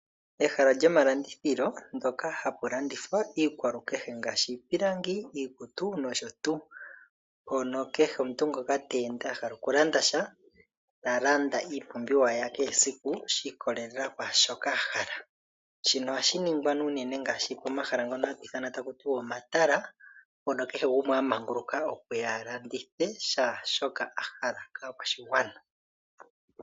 Ehala lyomalandithilo ndyoka hapu landithiwa iikwalukehe ngaasshi iipilangi iikutu nosho tuu. Mpono kehe omuntu ngoka teende a hala okulanda sha tala nda iipumbiwa yakehe esiku shi ikolelela kwaashoka a hala shino ohashi ningwa nee unene ngaashi pomahala ngono hatu ithana taku ti wa omatala mpono kehe gumwe a manguluka okuya a landithe shaashoka hala kaakwashigwana.